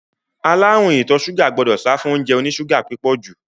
Aláàrúùn ìtọ ṣúgà gbọdọ̀ sáfún óúnjẹ oní ṣúgà púpọ̀ jù.